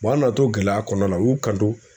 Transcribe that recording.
an nana to gɛlɛya kɔnɔna na u y'u kanto.